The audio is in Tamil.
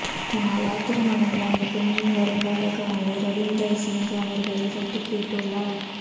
இதனால் ஆத்திரமடைந்த அந்த பெண்ணின் வருங்கால கணவர் ரவிந்தர் சிங் அவர்களைத் தட்டிக் கேட்டுள்ளார்